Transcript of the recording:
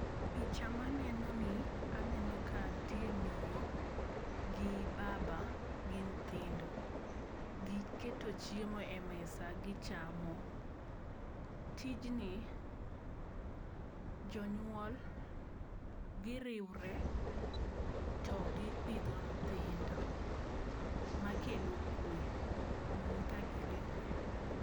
Picha manenoni, aneno ka nitie miyo gi baba gi nyithindo, giketo chiemo e mesa gichamo, tijni jonyuol giriwre togipitho nyithindo makelo kwe kagiriwre.